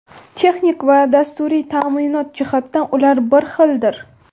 Texnik va dasturiy ta’minot jihatidan ular bir xildir.